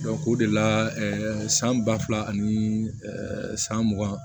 o de la san ba fila ani san mugan